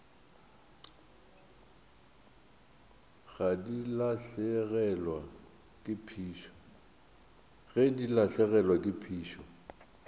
ge di lahlegelwa ke phišo